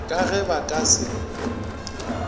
ka ge ba ka se